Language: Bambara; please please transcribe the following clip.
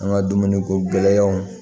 An ka dumuni ko gɛlɛyaw